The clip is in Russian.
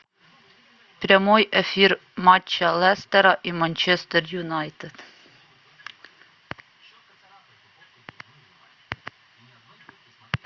прямой эфир матча лестера и манчестер юнайтед